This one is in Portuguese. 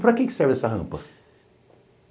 Para que que serve essa rampa?